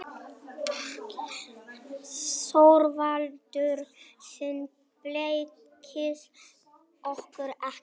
ÞORVALDUR: Þið blekkið okkur ekki.